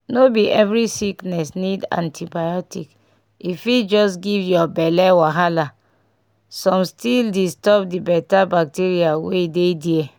no be every sickness need antibiotic e fit just give your belle wahala come still disturb the better bacteria wey dey there